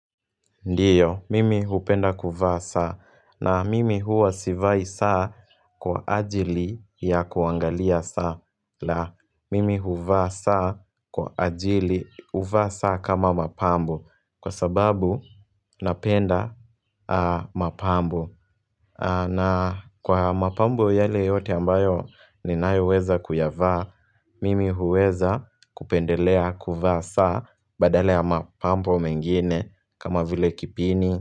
Ndiyo, mimi hupenda kuvaa saa, na mimi huwa sivai saa kwa ajili ya kuangalia saa, la mimi huvaa saa kwa ajili huvaa saa kama mapambo, kwa sababu napenda mapambo. Na kwa mapambo yale yote ambayo ninayo weza kuyavaa, mimi huweza kupendelea kuvaa saa badala ya mapambo mengine kama vile kipini.